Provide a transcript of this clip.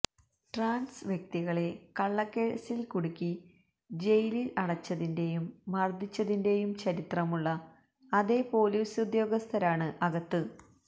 trans വ്യക്തികളെ കള്ളക്കേസില് കുടുക്കി ജയിലില് അടച്ചതിന്റെയും മര്ദ്ദിച്ചതിന്റെയും ചരിത്രമുള്ള അതേ പോലീസ് ഉദ്യോഗസ്ഥരാണ് അകത്ത്